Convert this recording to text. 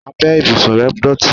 Abẹ́ ìbùsùn rẹ̀ dọ̀tí.